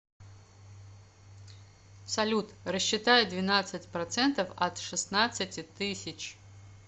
салют рассчитай двенадцать процентов от шестнадцати тысяч